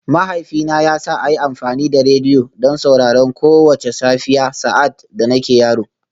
Mahaifina ya sa a yi amfani da rediyo don sauraron kowace safiya sa’ad da nake yaro